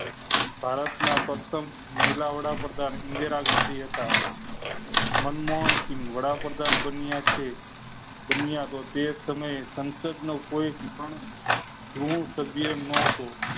ભારત ના પ્રથમ મનમોહન સિંહ વડાપ્રધાન બન્યા છે બન્યા તે તમે સંસદ નો કોઈ પણ ગૃહ સભ્ય નોટો.